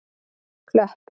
Klöpp